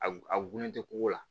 A gunnen tɛ ko la